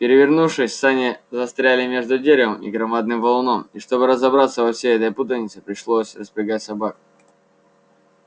перевернувшись сани застряли между деревом и громадным валуном и чтобы разобраться во всей этой путанице пришлось распрягать собак